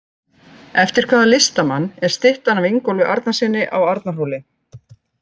Eftir hvaða listamann er styttan af Ingólfi Arnarsyni á Arnarhóli?